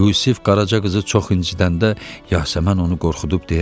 Yusif Qaraca qızı çox incidəndə Yasəmən onu qorxudub deyərdi: